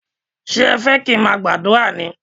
Ṣé ẹ fẹ́ kí n má gbàdúrà ní?